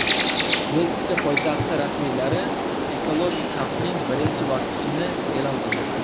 Meksika poytaxti rasmiylari ekologik xavfning birinchi bosqichini e’lon qildi.